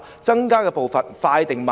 增加的步伐應該快還是慢呢？